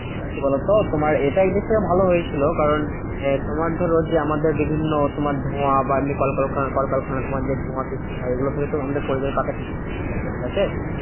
এবার কি বলতো? তোমার এটা একদিক থেকে ভালো হয়েছিল। কারণ আহ তোমার ধরো যে, আমাদের বিভিন্ন তোমার ধোঁয়া বা এমনি কলকারখানা কলকারখানা তোমার যে ধোঁয়ার সৃষ্টি হয়। এগুলো থেকে তো আমাদের প্রাকৃতিক হয়, তো ঠিকাছে?